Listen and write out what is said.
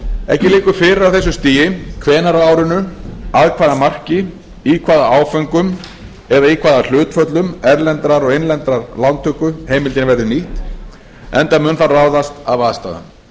ekki liggur fyrir á þessu stigi hvenær á árinu að hvaða marki í hvaða áföngum eða í hvaða hlutföllum erlendrar og innlendrar lántöku heimildin verður nýtt enda mun það ráðast af aðstæðum